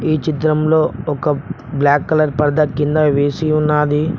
ఈ చిత్రంలో ఒక బ్లాక్ కలర్ పరదా కింద వేసి ఉన్నాది.